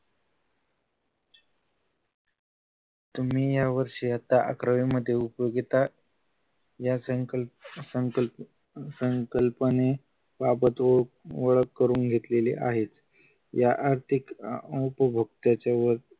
तुम्ही यावर्षी आत्ता अकरावी मध्ये उपयोगिता या संकल्प संकल्प संकल्पने वाबतो ओळख करून घेतलेली आहेत या आर्थिक उपभोक्त्याच्या वरील